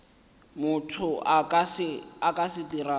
motho a ka se dirago